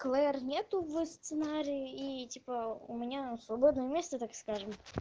клэр нету в сценарии и типа у меня свободное место так скажем